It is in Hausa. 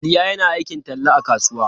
Bilya yana aikin talla a kasuwa.